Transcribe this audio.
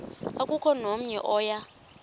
akukho namnye oya